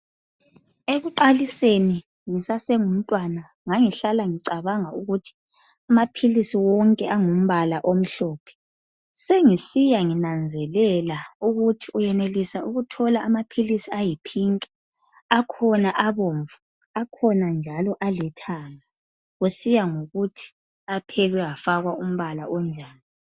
Ekuqaliseni ngisasengumtwana ngangihlala ngicabanga ukuthi amaphilisi wonke angumpala omhlophe sengisiya nginanzelela ukuthi uyenelisa ukuthola amaphilisi ayipink akhona abomvu akhona njalo alithanga kusiya ngokuthi aphekwe afakwa umpala onjani.